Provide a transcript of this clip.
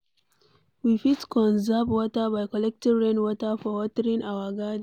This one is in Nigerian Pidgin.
We fit conserve water by collecting rain water for watering our garden